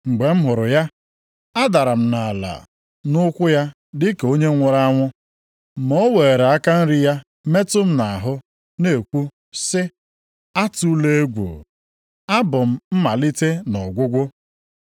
Mgbe m hụrụ ya, adara m nʼala nʼụkwụ ya dịka onye nwụrụ anwụ. Ma o weere aka nri ya metụ m nʼahụ na-ekwu sị, “Atụla egwu. Abụ m Mmalite na Ọgwụgwụ.